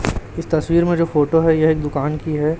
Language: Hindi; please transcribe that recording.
इस तस्वीर में जो फोटो है यह एक दुकान की है।